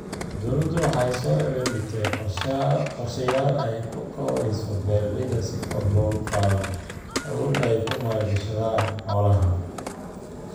Dawladdu waxa ay soo bandhigtay qorshayaal ay ku kabayso beeralayda si kor loogu qaado awooda ay ku maal gashadaan xoolaha.